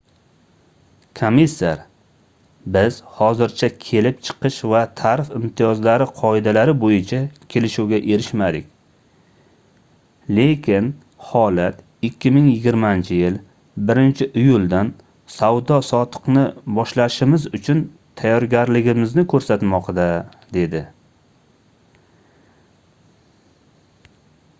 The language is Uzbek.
komissar biz hozircha kelib chiqish va tarif imtiyozlari qoidalari boʻyicha kelishuvga erishmadik lekin holat 2020-yil 1-iyuldan savdo-sotiqni boshlashimiz uchun tayyorligimizni koʻrsatmoqda - dedi